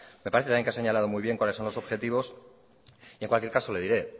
me parece también que ha señalado muy bien cuáles son los objetivos y en cualquier caso le diré